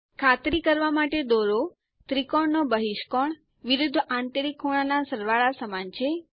ખાતરી કરવા માટે દોરો ત્રિકોણ નો બહિષ્કોણ વિરુદ્ધ આંતરિક ખૂણાના સરવાળા સમાન છે